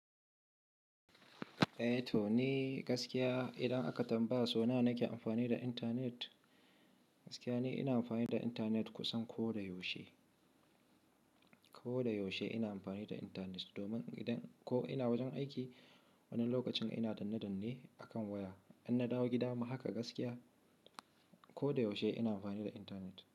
Eh to ni gaskiya idan aka tambaya sau nawa na ke amfani da internet, gaskiya ni ina amfani da internet kusan ko da yaushe. Ko da yaushe ina amfani da internet domin idan ko ina wajen aiki wani lokacin ina danne danne akan waya. In na dawo gida ma haka gaskiya ko da yaushe ina amfani da intanet.